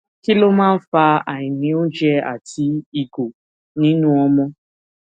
kí ló máa ń fa àìní oúnjẹ àti ìgò nínú ọmọ